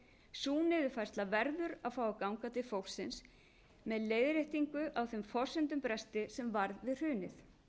sú niðurfærsla verður að fá að ganga til fólksins með leiðréttingu á þeim forsendubresti sem varð við hrunið